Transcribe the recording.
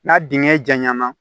N'a dingɛ jaɲa na